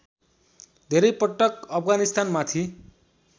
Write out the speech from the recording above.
धेरै पटक अफगानिस्तानमाथि